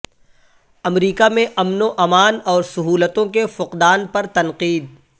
امریکہ میں امن و امان اور سہولتوں کے فقدان پر تنقید